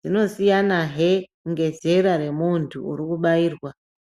dzinosiyanahe ngezera remuntu urikubairwa.